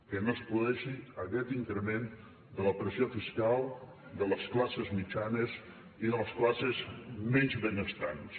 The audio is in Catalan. que no es produeixi aquest increment de la pressió fiscal de les classes mitjanes i de les classes menys benestants